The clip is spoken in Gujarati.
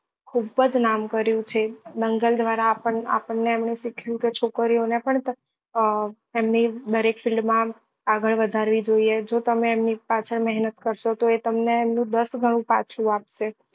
ખુબ જ નામ કર્યું છે દંગલ દ્વારા આપણને આપણને એમને શીખવ્યું કે છોકરીઓ ને પણ અ એમને દરેક માં આગળ વધારવી જોઈએ જો તમે એમની પાછળ મહેનત કરશો તો એ તમને એનું દસ ગણું પાછું આપશે